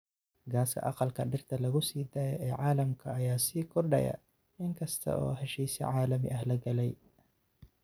Gaaska aqalka dhirta lagu sii daayo ee caalamka ayaa sii kordhaya in kasta oo heshiisyo caalami ah la galay.